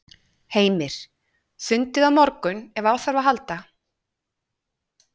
Heimir: Fundið á morgun ef þarf á að halda?